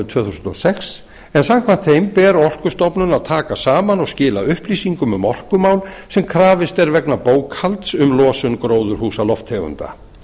tvö þúsund og sex en samkvæmt þeim ber orkustofnun að taka saman og skila upplýsingum um orkumál sem krafist er vegna bókhalds um losun gróðurhúsalofttegunda